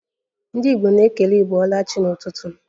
Ndị Igbo na-ekele 'ibolachi' n'ụtụtụ